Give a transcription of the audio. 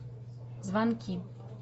звонки